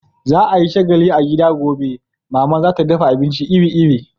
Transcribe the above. Za a yi shagalli a gida gobe, Mama za ta dafa abinci iri-iri.